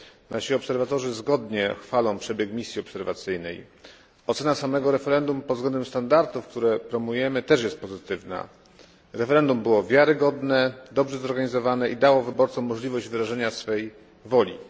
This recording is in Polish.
Nasi obserwatorzy zgodnie chwalą przebieg misji obserwacyjnej. Ocena samego referendum pod względem standardów, które promujemy, jest również pozytywna. Referendum było wiarygodne, dobrze zorganizowane i dało wyborcom możliwość wyrażenia swojej woli.